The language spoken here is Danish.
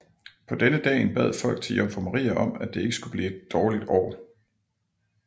På denne dagen bad folk til jomfru Maria om at det ikke skulle blive et dårligt år